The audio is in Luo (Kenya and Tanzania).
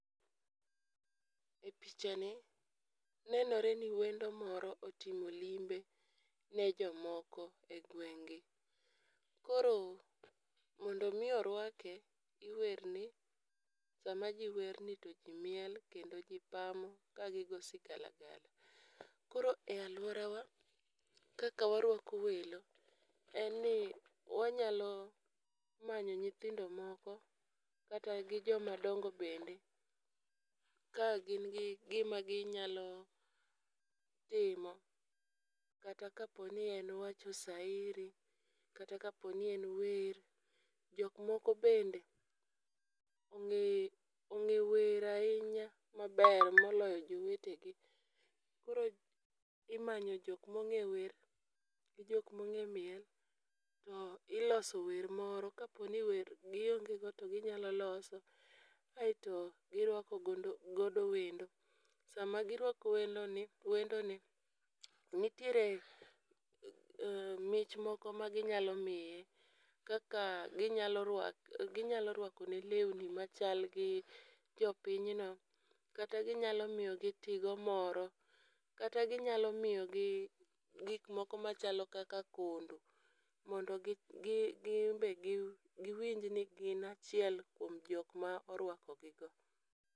E picha ni nenore ni wendo moro otimo limbe ne jomoko e ngweng' gi. Koro mondo mi orwake iwerne, sama jii werni to jii miel kendo ji pamo ka gigo sigalagala. Koro e aluorawa kaka warwako welo en ni wanyalo manyo nyithindo moko kata gi joma dongo bende ka gin gi gi gima ginyalo timo kata kapo ni en wacho sairi, kata kaponi en wer. Jok moko bende ong'e ong'e wer ahinya maber moloyo jowetegi. Koro imanyo jok mong'e wer gi jok mong'e miel to iloso wer moro .Kapo ni wer gionge go to ginyalo loso aeto giwako gondo godo wendo. Sama girwalo welo wendo ni nitiere mich moko magi nyalo miye kaka ginyalo rwak ginyalo rwakone lewni machal gi jo-pinyni kata ginyalo miyogi tigo moro kata ginyalo miyo gi gik moko machalo kaka kondo mondo gi gi ginbe giwinj ni gin achiel kuom jok ma orwako gigo.